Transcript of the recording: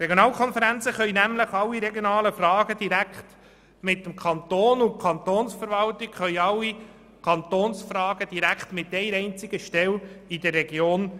Die Regionalkonferenzen können nämlich alle regionalen Fragen direkt mit dem Kanton besprechen und die Kantonsverwaltungen alle Kantonsfragen direkt mit einer einzigen Stelle in der Region.